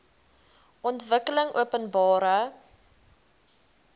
ontwikkelingopenbare